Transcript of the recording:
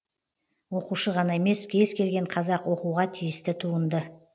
оқушы ғана емес кез келген қазақ оқуға тиісті туынды